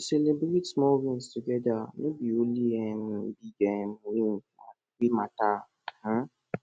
celibrate small wins togeda no be only um big um win wey mata um